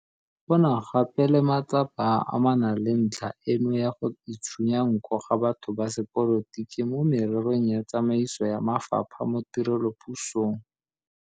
Go na gape le matsapa a a amanang le ntlha eno ya go itshunya nko ga batho ba sepolotiki mo mererong ya tsamaiso ya mafapha mo tirelopusong.